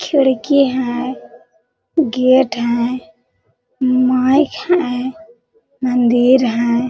खिड़की है गेट हैं माइक है मंदिर हैं।